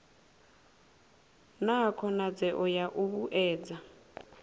na khonadzeo ya u vhuedza